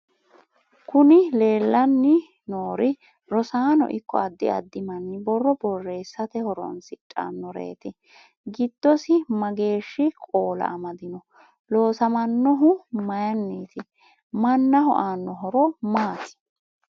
kuni leellanori rosaano ikko adda addi manni borro borreessate horoonsidhannoreeti. giddosi mageeshi qoola amadino? loosamannohu mayinniti? mannaho aanno horo maati?